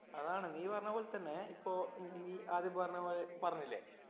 അതാണ് നീ പറഞ്ഞ പോലെ തന്നെ ഇപ്പൊ നീ ആദ്യം പറഞ്ഞ പറഞ്ഞില്ലേ